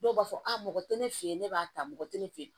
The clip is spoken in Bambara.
Dɔw b'a fɔ a mɔgɔ tɛ ne fɛ yen ne b'a ta mɔgɔ tɛ ne fɛ yen